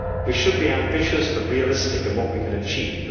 We should be ambitious but realistic in what we can achieve.